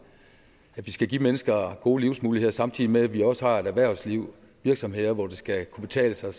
at vi skal give mennesker gode livsmuligheder samtidig med at vi også har et erhvervsliv og virksomheder hvor det skal kunne betale sig